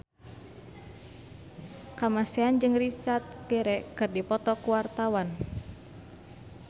Kamasean jeung Richard Gere keur dipoto ku wartawan